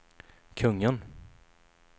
kungen